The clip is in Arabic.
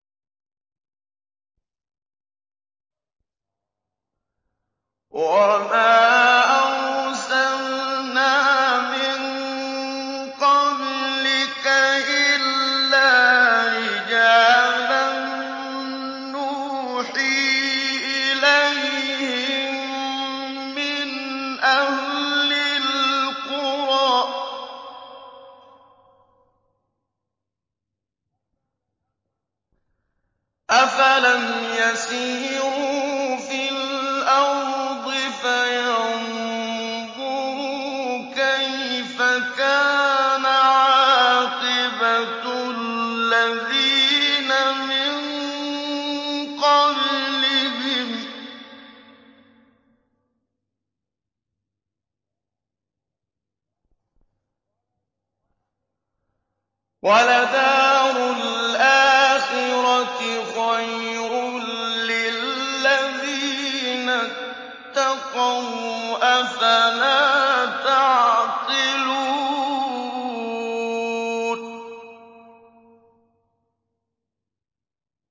وَمَا أَرْسَلْنَا مِن قَبْلِكَ إِلَّا رِجَالًا نُّوحِي إِلَيْهِم مِّنْ أَهْلِ الْقُرَىٰ ۗ أَفَلَمْ يَسِيرُوا فِي الْأَرْضِ فَيَنظُرُوا كَيْفَ كَانَ عَاقِبَةُ الَّذِينَ مِن قَبْلِهِمْ ۗ وَلَدَارُ الْآخِرَةِ خَيْرٌ لِّلَّذِينَ اتَّقَوْا ۗ أَفَلَا تَعْقِلُونَ